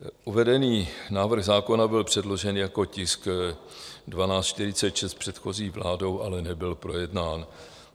Uvedený návrh zákona byl předložen jako tisk 1246 předchozí vládou, ale nebyl projednán.